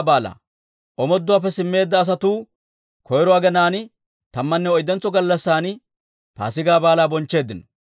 Omooduwaappe simmeedda asatuu koyro aginaan tammanne oyddentso gallassan Paasigaa Baalaa bonchcheeddino.